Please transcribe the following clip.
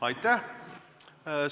Aitäh!